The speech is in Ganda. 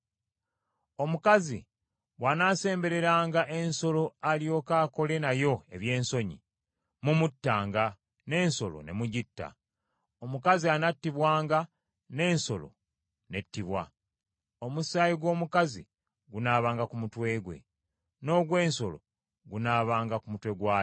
“ ‘Omukazi bw’anaasembereranga ensolo alyoke akole nayo eby’ensonyi, mumuttanga n’ensolo ne mugitta. Omukazi anattibwanga n’ensolo nettibwa; omusaayi gw’omukazi gunaabanga ku mutwe gwe, n’ogw’ensolo gunaabanga ku mutwe gwayo.